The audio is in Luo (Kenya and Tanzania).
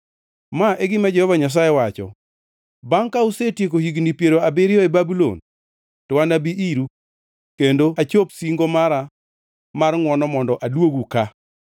Ma e gima Jehova Nyasaye wacho: “Bangʼ ka usetieko higni piero abiriyo e Babulon, to anabi iru kendo achop singo mara mar ngʼwono mondo aduogu ka.”